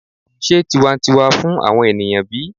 se tiwantiwa fun awon eniyan bi?